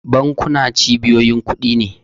Bankuna cibiyoyin kudi ne.